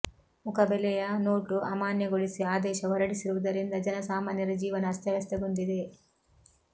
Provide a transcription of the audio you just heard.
ಮುಖ ಬೆಲೆಯ ನೋಟು ಅಮಾನ್ಯಗೊಳಿಸಿ ಆದೇಶ ಹೊರಡಿಸಿರುವುದರಿಂದ ಜನ ಸಾಮಾನ್ಯರ ಜೀವನ ಅಸ್ಥವ್ಯಸ್ಥಗೊಂಡಿದೆ